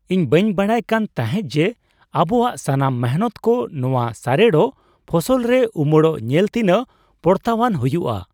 ᱤᱧ ᱵᱟᱹᱧ ᱵᱟᱰᱟᱭ ᱠᱟᱱ ᱛᱟᱦᱮᱜ ᱡᱮ ᱟᱵᱚᱣᱟᱜ ᱥᱟᱱᱟᱢ ᱢᱤᱱᱦᱟᱹᱛ ᱠᱚ ᱱᱚᱣᱟ ᱥᱟᱨᱮᱲᱚᱜ ᱯᱷᱚᱥᱚᱞ ᱨᱮ ᱩᱢᱟᱹᱲᱚᱜ ᱧᱮᱞ ᱛᱤᱱᱟᱹᱜ ᱯᱚᱨᱛᱟᱣᱟᱱ ᱦᱩᱭᱩᱜᱼᱟ ᱾